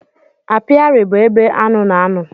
Apiari bụ ebe aṅụ na-ano.